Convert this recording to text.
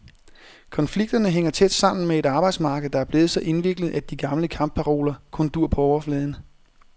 Konflikterne hænger tæt sammen med et arbejdsmarked, der er blevet så indviklet, at de gamle kampparoler kun duer på overfladen.